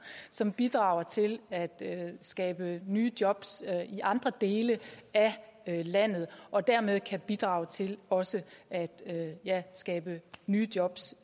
som bidrager til at skabe nye jobs i andre dele af landet og dermed kan bidrage til også at skabe nye jobs